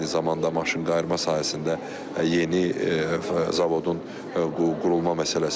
Eyni zamanda maşınqayırma sahəsində yeni zavodun qurulma məsələsi var.